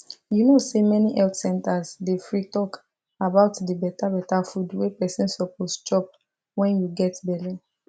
you know say many health centers dey free talk about the better better food wey person suppose chop when you get belle